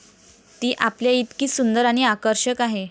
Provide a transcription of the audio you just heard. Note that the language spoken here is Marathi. ती आपल्याइतकीच सुंदर आणि आकर्षक आहे.